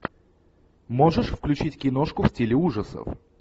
можешь включить киношку в стиле ужасов